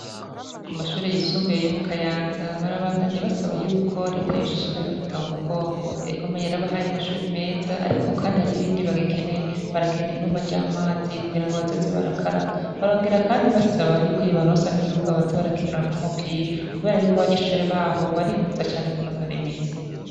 Kumashure yisumbuye yo mukanyanza ,barabandanya basaba yuko reta yoshishikara ibafata mumugongo ,egome yarabahaye amashure meza ,ariko kandi hariho ibindi bagikeneye ,barakeneye ibomba vy'amazi kugira ngo bazoze barakaraba, barongera kandi basaba yuko yobaronsa n'ikibuga boza bakiniramwo umupira ,kubera ko abanyeshure baho baripfuza cane kunonora imitsi.